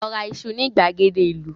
Lọ ra iṣu ní ìgbàgede ìlú!